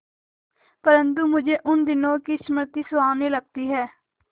परंतु मुझे उन दिनों की स्मृति सुहावनी लगती है